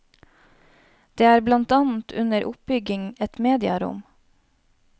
Det er blant annet under oppbygging et mediarom.